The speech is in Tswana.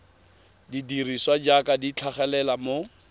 dirisiwa jaaka di tlhagelela mo